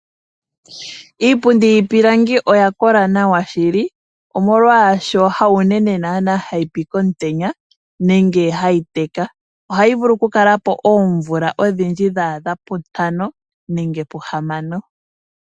Iipundi yiipilangi oya kola nawa shili , omolwashoka hawu unene hayi pi komutenya nenge hayi teka. Ohayi vulu okukala po odhindji dhaadha puntano nenge puhamano.